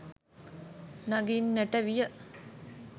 නඟින්නට විය.